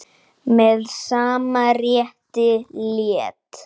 Með sama rétti lét